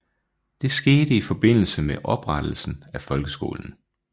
Det skete i forbindelse med oprettelsen af folkeskolen